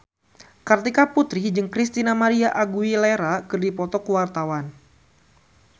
Kartika Putri jeung Christina María Aguilera keur dipoto ku wartawan